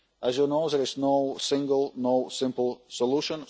As you know, there is no single, no simple solution.